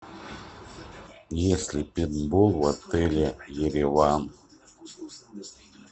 есть ли пейнтбол в отеле ереван